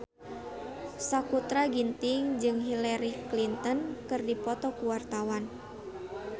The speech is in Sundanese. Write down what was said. Sakutra Ginting jeung Hillary Clinton keur dipoto ku wartawan